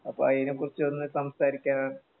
അപ്പൊ അയിനെക്കുറിച്ചൊന്ന് സംസാരിക്കാനാണ്